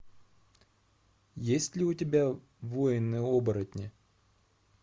есть ли у тебя воины оборотни